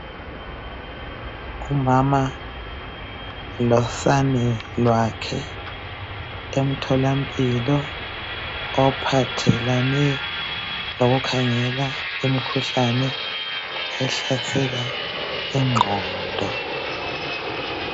Umama losane lwakhe emtholampilo ophathelane lokukhangela imikhuhlane ehlasela ingqondo